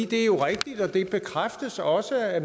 det er jo rigtigt og det bekræftes også af